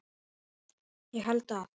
Ég held að